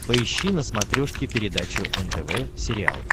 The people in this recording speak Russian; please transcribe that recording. поищи на смотрешке передачу нтв сериал